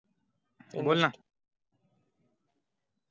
बोल ना